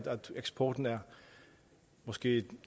eksporten er måske